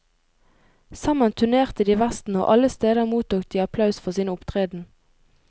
Sammen turnerte de vesten og alle steder mottok de applaus for sin opptreden.